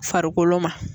Farikolo ma